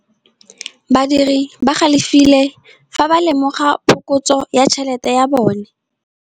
Badiri ba galefile fa ba lemoga phokotsô ya tšhelête ya bone.